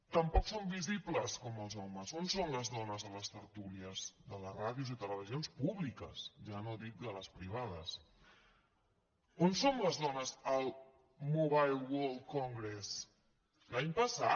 tampoc som visibles com els homes on són les dones a les tertúlies de les ràdios i televisions públiques ja no dic de les privades on són les dones al mobile world congress l’any passat